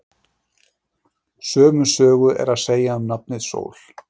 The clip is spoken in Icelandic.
Sömu sögu er að segja um nafnið Sól.